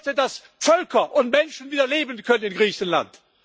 Ich möchte, dass Völker und Menschen wieder leben können in Griechenland!